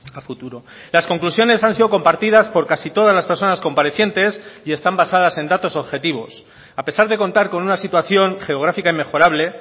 a futuro las conclusiones han sido compartidas por casi todas las personas comparecientes y están basadas en datos objetivos a pesar de contar con una situación geográfica inmejorable